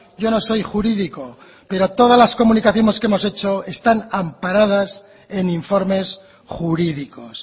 yo no soy jurídico pero todas las comunicaciones que hemos hecho están amparadas en informes jurídicos